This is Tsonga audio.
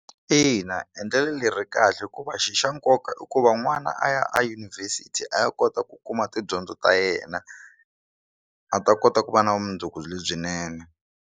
Ina, endlelo leri ri kahle hikuva xi xa nkoka i ku va n'wana a ya edyunivhesiti a ya kota ku kuma tidyondzo ta yena a ta kota ku va na vumundzuku lebyinene.